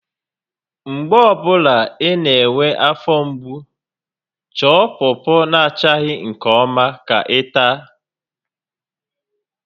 Mgbe ọ bụla ị na-enwe afọ mgbu, chọọ pọpọ na achaghị nke ọma ka ị taa